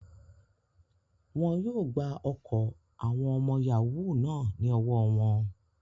Wọ́n yóò gba ọkọ̀ àwọn ọmọ yàáwù náà ní ọwọ́ wọn